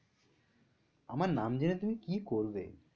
আমার নাম জেনে তুমি কি করবে?